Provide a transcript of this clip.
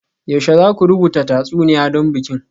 Yaushe za ku rubuta tatsuniya don bikin?